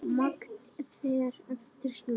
Magn fer eftir smekk.